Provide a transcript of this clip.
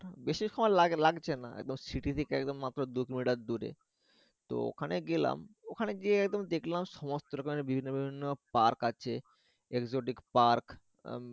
বেশি সময় লাগছে না একদম শিথি থেকে একদম মাত্র দু কিলোমিটার দূরে তো ওখানে গেলাম ওখানে যেয়ে একদম দেখলাম সমস্ত রকমের বিভিন্ন বিভিন্ন park আছে exotic park উম